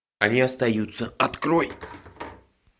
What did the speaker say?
они остаются открой